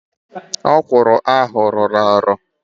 Ókwụ̀rụ̀ ahụ lọọrọ alọ